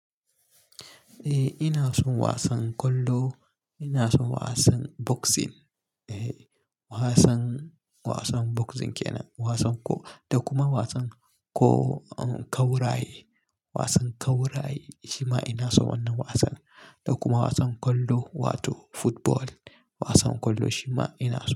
Eh ina son wasan kwallo, ina son wasan boxing. Eh wasan, wasan boxing kenan, wasan ko, da kuma wasan ko kawra yi, wasan kawra yi shima ina son wannan wasan. Da kuma wasan kwallo wato football, wasan kwallo shima ina so.